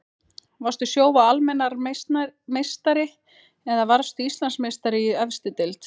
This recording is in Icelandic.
Varstu Sjóvá Almennrar meistari eða varðstu Íslandsmeistari í efstu deild?